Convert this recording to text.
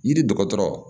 Yiri dɔgɔtɔrɔ